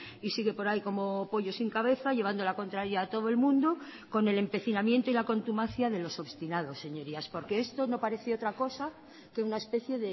y sigue por ahí como pollo sin cabeza llevando la contraria a todo el mundo con el empecinamiento y la contumacia de los obstinados señorías porque esto no parece otra cosa que una especie